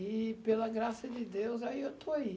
E, pela graça de Deus, aí eu estou aí.